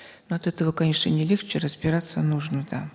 ну от этого конечно не легче разбираться нужно там